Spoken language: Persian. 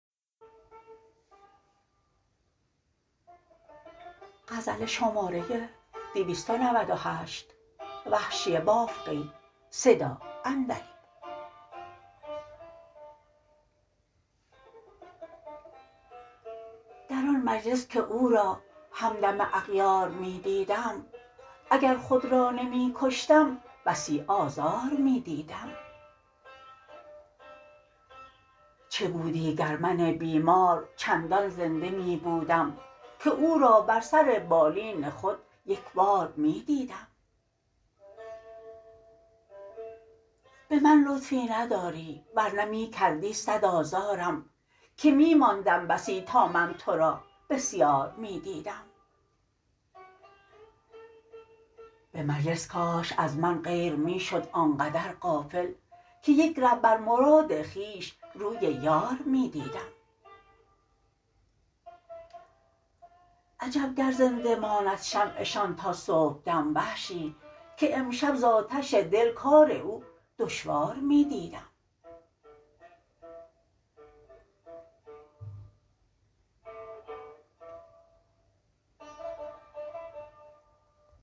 در آن مجلس که او را همدم اغیار می دیدم اگر خود را نمی کشتم بسی آزار می دیدم چه بودی گر من بیمار چندان زنده می بودم که او را بر سر بالین خود یکبار می دیدم به من لطفی نداری ورنه می کردی سد آزارم که می ماندم بسی تا من ترا بسیار می دیدم به مجلس کاش از من غیر می شد آنقدر غافل که یک ره بر مراد خویش روی یار می دیدم عجب گر زنده ماند شمع شان تا صبحدم وحشی که امشب ز آتش دل کار او دشوار می دیدم